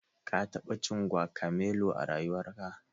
Ka taɓa jin Guacamelo a rayuwarka?